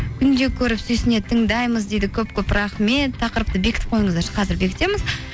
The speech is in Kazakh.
күнде көріп сүйсіне тыңдаймыз дейді көп көп рахмет тақырыпты бекітіп қойыңыздаршы қазір бекітеміз